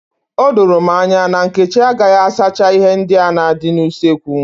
Odoro m anya na Nkechi agaghị asacha ihe ndị na-adị n'usekwu.